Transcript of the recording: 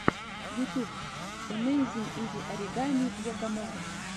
ютьюб амэйзин изи оригами якомога